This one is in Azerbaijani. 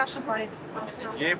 Yedi yaşım var idi.